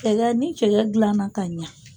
Cɛkɛ ni jɛgɛ dilanna ka ɲɛ.